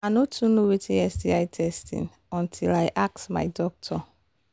i no too know watin sti testing until i ask my doctor